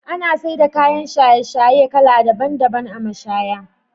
Ana saida kayan shaye-shaye kala daban daban a mashaya.